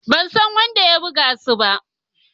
Ban san wanda ya buga su ba.